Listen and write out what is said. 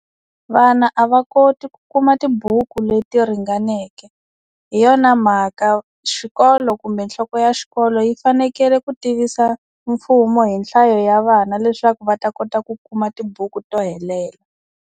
Vana a va koti ku kuma tibuku leti ringaneke hi yona mhaka xikolo kumbe nhloko ya xikolo yi fanekele ku tivisa mfumo hi nhlayo ya vana leswaku va ta kota ku kuma tibuku to helela.